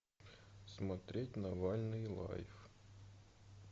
смотреть навальный лайф